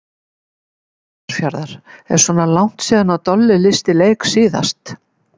Grundarfjarðar: Er svona langt síða Dolli lýsti leik síðast?